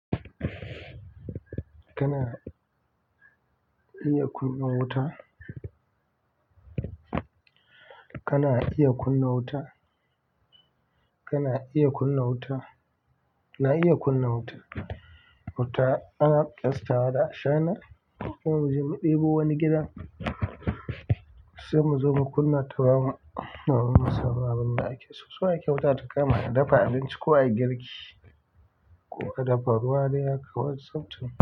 Kana iya kunna wuta? Kana iya kunna wuta? Kana iya kunna wuta? Na iya kunna wuta. Wuta ana ƙyastawa da ashana, ko mu je mu ɗebo wani gida sai mu zo mu kunna tamu, domin mu samu abin da ake. So ake wuta ta kama a dafa abinci ko a yi girki ko ka dafa ruwa dan shan tea.